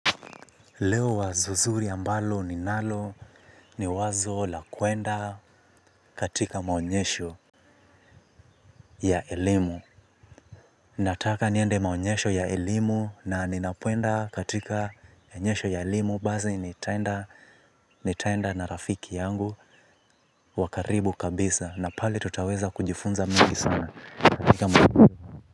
Leo wazo zuri ambalo ninalo ni wazo la kuenda katika maonyesho ya elimu. Nataka niende maonyesho ya elimu na ninapoenda katika onyesho ya elimu. Basi nitaenda na rafiki yangu. Wa karibu kabisa na pale tutaweza kujifunza mingi sana katika maonyesho.